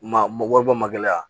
Ma wari bɔ mali la yan